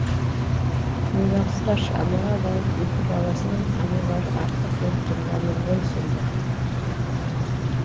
ойлаңыздаршы анаға бауыр еті баласынан анарлары артық болып тұрғаны ғой сонда